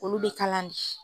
Olu bɛ kalan di.